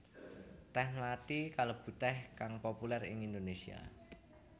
Tèh mlathi kalebu tèh kang populér ing Indonésia